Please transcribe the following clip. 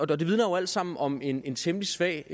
det vidner jo alt sammen om en en temmelig svag